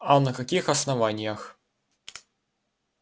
а на каких основаниях